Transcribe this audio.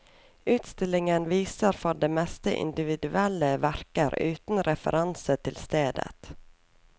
Utstillingen viser for det meste individuelle verker uten referanse til stedet.